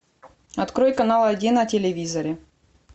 открой канал один на телевизоре